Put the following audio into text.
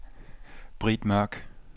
Britt Mørk